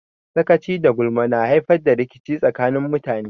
Sakaci da gulma na haifar da rikici tsakanin mutane.